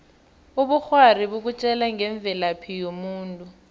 ubukghwari bukutjela ngemvelaphi yomuntu